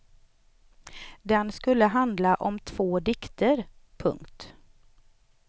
Den skulle handla om två dikter. punkt